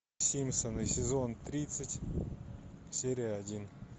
симпсоны сезон тридцать серия один